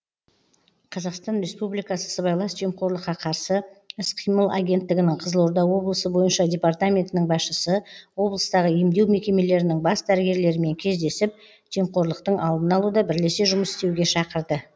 қазақстан республикасы сыбайлас жемқорлыққа қарсы іс қимыл агенттігінің қызылорда облысы бойынша департаментінің басшысы облыстағы емдеу мекемелерінің бас дәрігерлерімен кездесіп жемқорлықтың алдын алуда бірлесе жұмыс істеуге шақырды